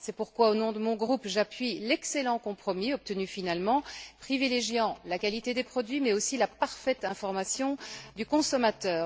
C'est pourquoi, au nom de mon groupe, j'appuie l'excellent compromis finalement obtenu, privilégiant la qualité des produits mais aussi la parfaite information du consommateur.